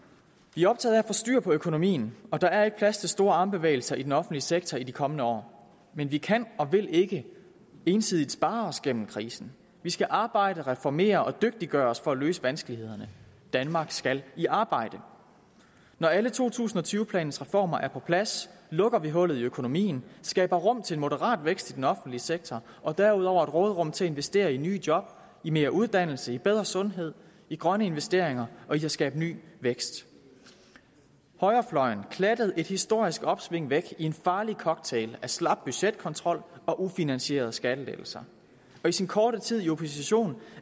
vi er optaget få styr på økonomien og der er ikke plads til store armbevægelser i den offentlige sektor i de kommende år men vi kan og vil ikke ensidigt spare os gennem krisen vi skal arbejde reformere og dygtiggøre os for at løse vanskelighederne danmark skal i arbejde når alle to tusind og tyve planens reformer er på plads lukker vi hullet i økonomien skaber rum til en moderat vækst i den offentlige sektor og derudover et råderum til at investere i nye job i mere uddannelse i bedre sundhed i grønne investeringer og i at skabe ny vækst højrefløjen klattede et historisk opsving væk i en farlig cocktail af slap budgetkontrol og ufinansierede skattelettelser og i sin korte tid i opposition